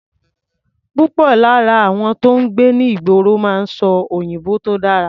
Púpọ̀ lára àwọn tó ń gbé ní ìgboro máa ń sọ òyìnbó tó dára.